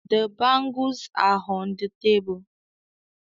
The bangles are on the table